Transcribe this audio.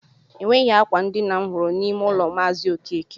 Enweghị akwa ndina m hụrụ n'ime ụlọ maazi okeke